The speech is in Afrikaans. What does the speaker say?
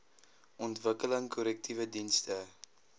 ontwikkeling korrektiewe dienste